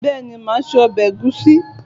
Béeni, máa se obè ègúsí